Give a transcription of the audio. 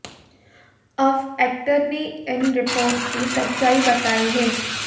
अब एक्टर ने इन रिपोर्ट्स की सच्चाई बताई है